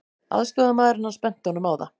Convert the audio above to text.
Aðstoðarmaðurinn hans benti honum á það.